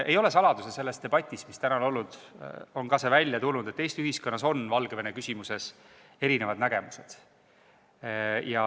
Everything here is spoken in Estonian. Ei ole saladus – ja tänases debatis on see ka välja tulnud –, et Eesti ühiskonnas on Valgevene küsimuses erisugused nägemused.